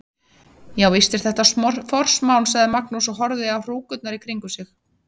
Já, víst er þetta forsmán, sagði Magnús og horfði á hrúkurnar í kringum sig.